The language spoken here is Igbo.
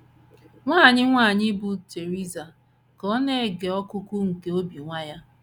Nwa anyị nwanyị bụ́ Theresa, ka ọ na - ege ọkụkụ nke obi nwa ya